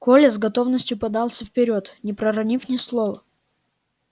коля с готовностью подался вперёд не проронив ни слова